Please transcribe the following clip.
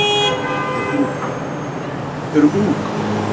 eru ung.